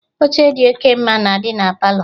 Oche dị oke ọma na-adị na Palọ